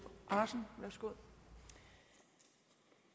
andersen kom